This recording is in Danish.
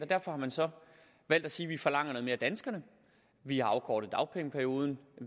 derfor har man så valgt at sige at vi forlanger noget mere af danskerne vi har afkortet dagpengeperioden